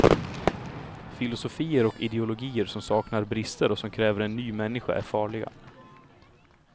Filosofier och ideologier som saknar brister och som kräver en ny människa är farliga.